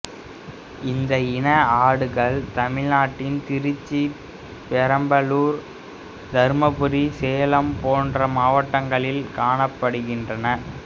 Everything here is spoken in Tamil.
இந்த இன ஆடுகள் தமிழ்நாட்டின் திருச்சி பெரம்பலூர் தருமபுரி சேலம் போன்ற மாவட்டங்களில் காணப்படுகின்றன